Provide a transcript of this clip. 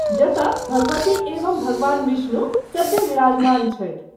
जतय भगवती एवं भगवान विष्णु सद्य: विराजमान छथि।